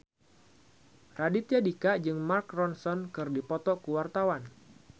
Raditya Dika jeung Mark Ronson keur dipoto ku wartawan